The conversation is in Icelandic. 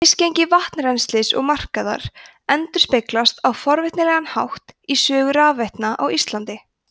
misgengi vatnsrennslis og markaðar endurspeglast á forvitnilegan hátt í sögu rafveitna á íslandi